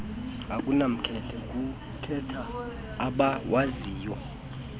akunamkhethe kukhetha abawaziyo